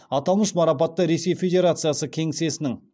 аталмыш марапатты ресей федерациясы кеңсесінің